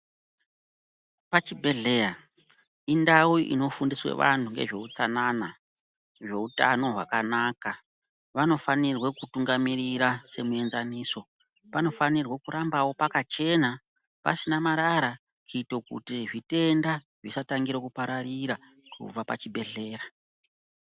Pachibhedhleya indau unofundiswa antu ngezveutsanana zveutano hwakanaka .Vanofanirwa kutungamirira semuenzaniso ,panofanirwa kurambawo pakachena pasina marara kuita kuti zvitenda zvisatanga kupararira kubva pachibhedhleya.